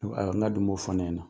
Na dun m'o fɔ ɲɛna.